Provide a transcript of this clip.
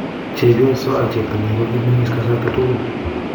chepyoso ak cheptonyi kokimengis kasarta tugul